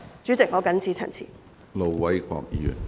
主席，我謹此陳辭。